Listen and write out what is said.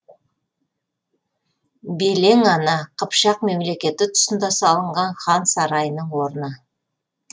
белең ана қыпшақ мемлекеті тұсында салынған хан сарайының орны